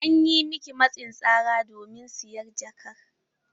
An yi miki matsin tsara domin siyan jakar?